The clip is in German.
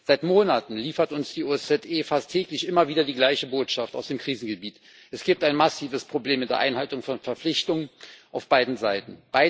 Seit Monaten liefert uns die OSZE fast täglich immer wieder die gleiche Botschaft aus dem Krisengebiet Es gibt ein massives Problem mit der Einhaltung von Verpflichtungen auf beiden Seiten.